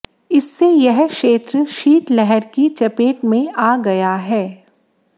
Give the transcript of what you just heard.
इससे यह क्षेत्र शीतलहर की चपेट में आ गया है